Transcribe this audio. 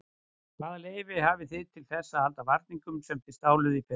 Hvaða leyfi hafið þið til þess að halda varningnum sem þið stáluð í fyrra?